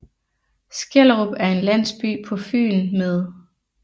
Skellerup er en landsby på Fyn med